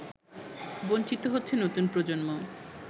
বঞ্চিত হচ্ছে নতুন প্রজন্ম